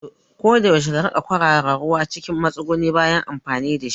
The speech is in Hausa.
Koda yaushe ka riƙa kwarara ruwa cikin matsuguni bayan amfani dashi